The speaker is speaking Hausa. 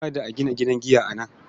Kada a gina gidan giya a nan.